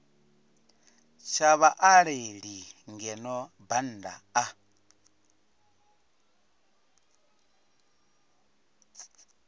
tsha vhaaleli ngeno bannda a